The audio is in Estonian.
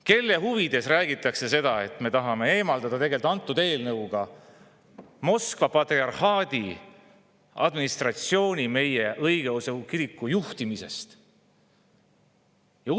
Kelle huvides räägitakse, et me tahame antud eelnõuga eemaldada Moskva patriarhaadi administratsiooni meie õigeusu kiriku juhtimisest?